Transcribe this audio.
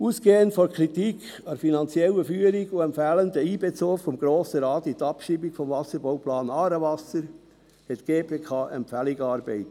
Ausgehend von der Kritik an der finanziellen Führung und dem fehlenden Einbezug des Grossen Rates in die Abschreibung des Wasserbauplans «Aarewasser» hat die GPK Empfehlungen erarbeitet.